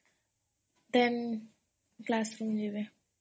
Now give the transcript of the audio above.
then classବି ନେବେ